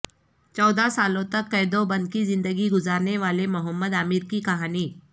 چودہ سالوں تک قید وبند کی زندگی گذارنے والے محمد عامر کی کہانی